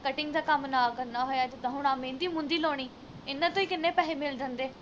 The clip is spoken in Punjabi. cutting ਦਾ ਕੰਮ ਨਾ ਕਰਨਾ ਹੋਇਆ ਜਿੱਦਾ ਹੁਣ ਆਹ ਮਹਿੰਦੀ ਮੂਹਦੀ ਲਾਉਣੀ ਇਨ੍ਹਾਂ ਤੋਂ ਹੀ ਕਿੰਨੇ ਪੈਹੇ ਮਿਲ ਜਾਂਦੇ